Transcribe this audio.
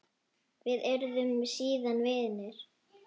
Við urðum síðan vinir.